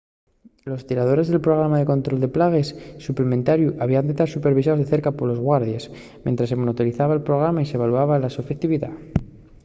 los tiradores del programa de control de plagues suplementariu habíen de tar supervisaos de cerca polos guardies mientres se monitorizaba’l programa y s’evaluaba la so efectividá